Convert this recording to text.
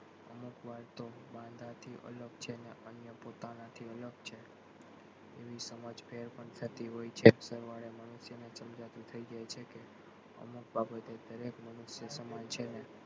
અમુક વાર તો વાંઢાથી અલગ છે ને અન્ય પોતાનાથી અલગ છે એવી સમજ ફેર પણ થતી હોય છે એ પ્રમાણે મનુષ્ય ને સમજાતું થઇ જાય છે કે અમુક બાબતે દરેક મનુષ્ય સમાન છે ને,